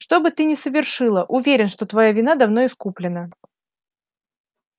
что бы ты ни совершила уверен что твоя вина давно искуплена